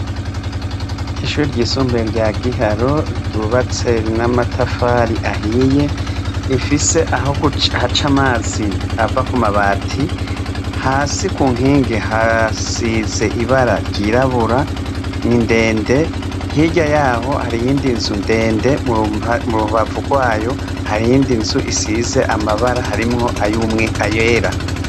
Ishuri ry'isumbuye rya giharo ryubatse n'amatafari ahiye ifise aho ha ca amazi ava ku mabati hasi ku nkingi hasize ibara ryirabura ni ndende hirya yaho hariyindinzu ndende mu rubavu rwayo harindi nzu isize amabara harimwo ayoumwe ayera.